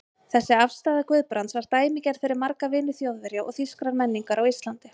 Þessi afstaða Guðbrands var dæmigerð fyrir marga vini Þjóðverja og þýskrar menningar á Íslandi.